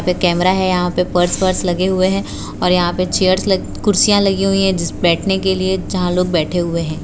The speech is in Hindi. कैमरा है यहां पे पर्स वर्स लगे हुए हैं और यहां पे चेयर्स लग कुर्सियां लगी हुई हैं जिस बैठने के लिए जहां लोग बैठे हुए हैं।